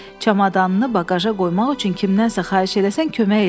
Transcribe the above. Çamadanını baqaja qoymaq üçün kimdənsə xahiş eləsən, kömək eləyər.